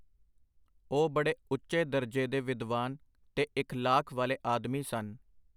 ਉਹ ਬੜੇ ਉਚੇ ਦਰਜੇ ਦੇ ਵਿਦਵਾਨ ਤੇ ਇਖਲਾਕ ਵਾਲੇ ਆਦਮੀ ਸਨ.